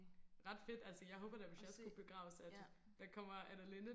ret fedt altså jeg håber da at hvis jeg skulle begraves at der kommer Anne Linnet